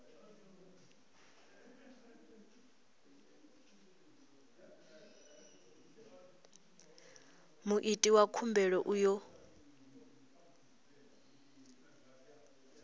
muiti wa khumbelo u ḓo